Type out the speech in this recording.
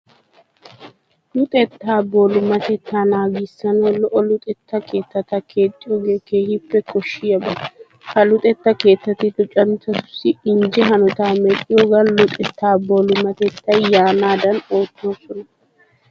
Luxettaa boolumatettaa naagissanawu lo"o luxetta keettata keexxiyogee keehippe koshshiyaba. Ha luxetta keettati luxanchchatussi injje hanotaa medhdhiyogan luxettaa boolumatettay yaanaadan oottoosona.